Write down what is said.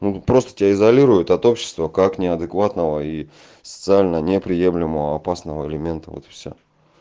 ну просто тебя изолируют от общества как неадекватного и социально неприемлемого опасного элемента вот и всё